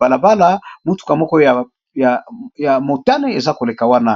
balabala motuka moko ya motane eza koleka wana